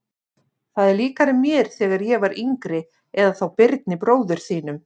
Þetta er líkara mér þegar ég var yngri eða þá Birni bróður þínum.